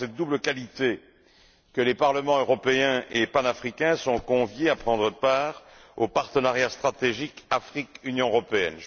C'est en cette double qualité que les Parlement européen et panafricain sont conviés à prendre part au partenariat stratégique Afrique Union européenne.